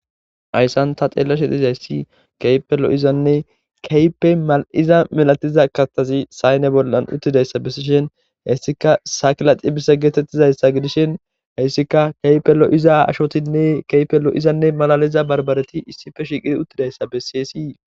Hayssan ta xeellashe dhizays si keypelo7izanne keype ma7iza milatiza kastazi sayne bollan uttidayssa bessishen hessika sakilaxi bissa geetettizayssa gidishin heyssika keypelo7iza ashotinne keypelo izanne malaliza barbareti issife shiqidi uttidayssa bessiyesii